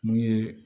Mun ye